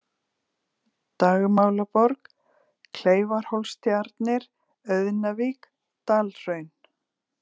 Dagmálaborg, Kleifarhólstjarnir, Auðnavík, Dalhraun